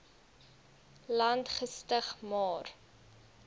land gestig maar